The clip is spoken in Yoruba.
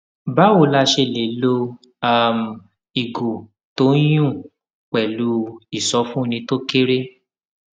báwo la ṣe lè lo um ìgò tó ń yùn pèlú ìsọfúnni tó kéré